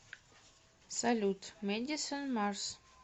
салют мэдисон марс